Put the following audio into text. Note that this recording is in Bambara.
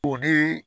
O ni